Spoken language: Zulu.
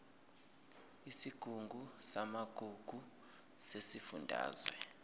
isigungu samagugu sesifundazwe